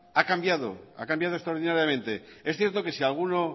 ha cambiado extraordinariamente es cierto que si alguno